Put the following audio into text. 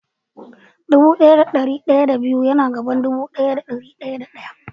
Dubu daya da dari daya da biyu yana zuwa bayan dubu daya da dari daya da daya.